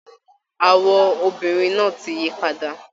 Àwọ̀ obìnrin náà ti yí padà